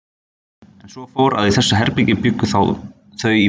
En svo fór, að í þessu herbergi bjuggu þau í fimm ár.